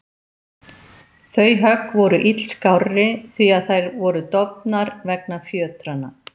Þau högg voru illskárri því að þær voru dofnar vegna fjötranna.